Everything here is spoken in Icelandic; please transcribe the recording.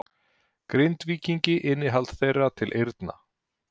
Grindvíkingi innihald þeirra til eyrna.